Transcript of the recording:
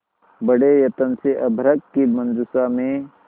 बड़े यत्न से अभ्र्रक की मंजुषा में